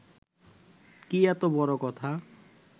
কি এত বড় কথা